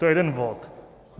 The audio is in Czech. To je jeden bod.